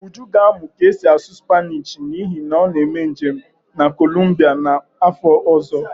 Uju ga na-amụ ka esi asụ Spanishi n'ihi na ọ na-eme njem na kolumbia n'afọ ọzọ